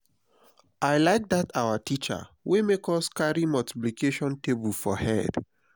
i like dat our teacher wey make us carry multiplication table for head